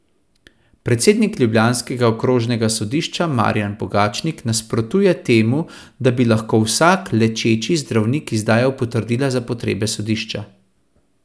Predsednik ljubljanskega okrožnega sodišča Marjan Pogačnik nasprotuje temu, da bi lahko vsak lečeči zdravnik izdajal potrdila za potrebe sodišča.